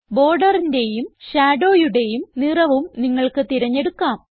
ബോർഡറിന്റേയും shadowയുടേയും നിറവും നിങ്ങൾക്ക് തിരഞ്ഞെടുക്കാം